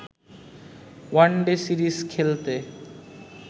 one day series খেলতে